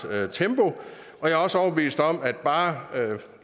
tempo jeg er også overbevist om at bare